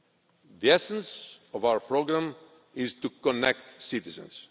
The essence of our programme is to connect citizens.